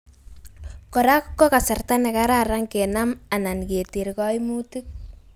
korak ko kasarta nekararan kenam anan keter koimutik